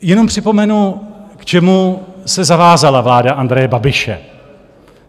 Jenom připomenu, k čemu se zavázala vláda Andreje Babiše.